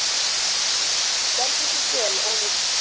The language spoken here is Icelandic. Þú stendur þig vel, Ólína!